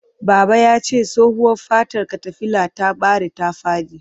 Baba yace tsohuwa fatar katafilar ta bare ta fadi.